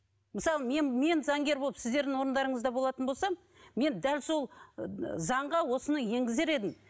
мысалы мен мен заңгер болып сіздердің орындарыңызда болатын болсам мен дәл сол заңға осыны енгізер едім